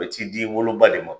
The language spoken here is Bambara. U be t'i di i wolo ba de ma.